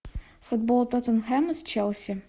футбол тоттенхэма с челси